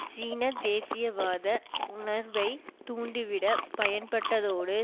சீன தேசியவாத உணர்வை தூண்டிவிட பயன்பட்டதோடு